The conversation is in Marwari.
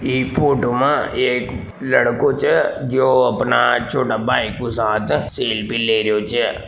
ई फोटो में एक लडको छे जो अपने छोटे भाई को साथ सेल्फी ले रियो छे।